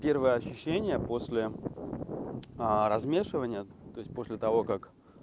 первые ощущения после размешивания то есть после того как